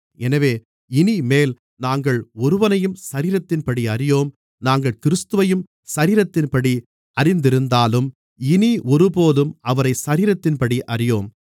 எனவே இனிமேல் நாங்கள் ஒருவனையும் சரீரத்தின்படி அறியோம் நாங்கள் கிறிஸ்துவையும் சரீரத்தின்படி அறிந்திருந்தாலும் இனி ஒருபோதும் அவரை சரீரத்தின்படி அறியோம்